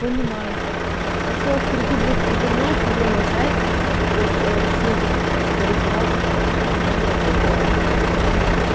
понимаю ещё перекидывает типа знаешь на левые сайты от ссылки типа рефералка вот эта вся херня чтобы пиар